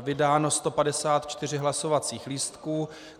vydáno 154 hlasovacích lístků.